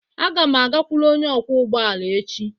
Aga m agakwuru onye ọkwọ ụgbọala echi.